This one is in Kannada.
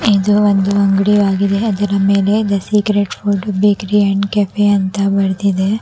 ಇದು ಒಂದು ಅಂಗಡಿಯಾಗಿದೆ ಅದರ ಮೇಲೆ the secret code bakery and cafe ಅಂತ ಬರ್ದಿದೆ.